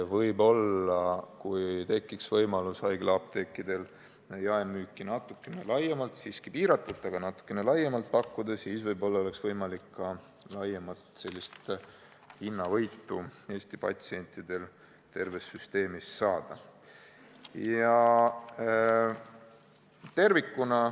Kui haiglaapteekidel tekiks võimalus jaemüüki natukene laiemalt kasutada – siiski piiratult, aga natukene laiemalt –, siis võib-olla oleks võimalik Eesti inimestel hinnavõitu terves süsteemis saada.